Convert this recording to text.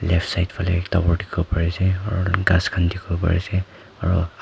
left side fale tower dikhibo pari se aro ghass khan dikhibo pare se aro ag--